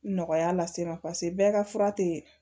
Nɔgɔya lase n ma paseke bɛɛ ka fura te